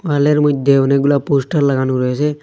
ওয়ালের মইধ্যে অনেকগুলো পোস্টার লাগানো রয়েছে।